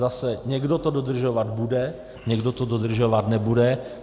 Zase, někdo to dodržovat bude, někdo to dodržovat nebude.